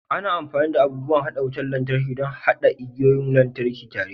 Ana amfani da abun haɗa wutar lantarki don haɗa igiyoyin lantarki tare